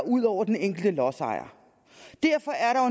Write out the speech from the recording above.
ud over den enkelte lodsejer derfor er